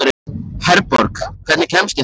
Herborg, hvernig kemst ég þangað?